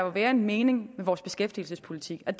være en mening med vores beskæftigelsespolitik og